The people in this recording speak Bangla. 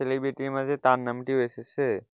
celebrity র মাঝে তার নামটিও এসেছে।